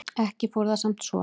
Ekki fór það samt svo.